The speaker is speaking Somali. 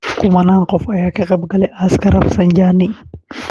Kumanaan qof ayaa ka qeyb galaya aaska Rafsanjani